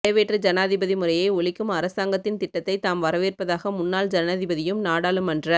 நிறைவேற்று ஜனாதிபதி முறையை ஒழிக்கும் அரசாங்கத்தின் திட்டத்தை தாம் வரவேற்பதாக முன்னாள் ஜனாதிபதியும் நாடாளுமன்ற